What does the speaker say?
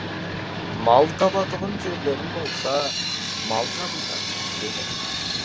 мал табатұғын жерлерің болса мал табыңдар деді